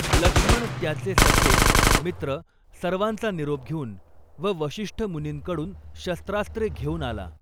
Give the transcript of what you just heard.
लक्ष्मण त्याचे सखे, मित्र, सर्वांचा निरोप घेऊन व वशिष्ठ मुनींकडून शस्त्रास्त्रे घेऊन आला.